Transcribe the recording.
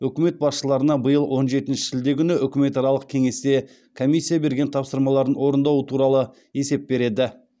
үкімет басшыларына биыл он жетінші шілде күні үкіметаралық кеңесте комиссия берген тапсырмаларын орындауы туралы есеп береді